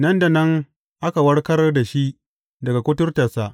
Nan da nan aka warkar da shi daga kuturtarsa.